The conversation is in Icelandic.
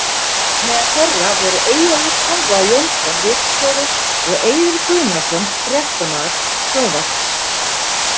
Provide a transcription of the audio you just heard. Meðal þeirra voru Eyjólfur Konráð Jónsson ritstjóri og og Eiður Guðnason fréttamaður sjónvarps.